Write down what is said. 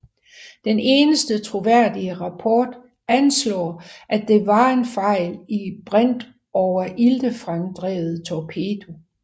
Den eneste troværdige rapport anslår at det var en fejl i en brintoveriltefremdrevet torpedo